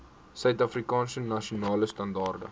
suidafrikaanse nasionale standaarde